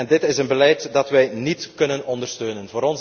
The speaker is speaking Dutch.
Dit is een beleid dat wij niet kunnen ondersteunen.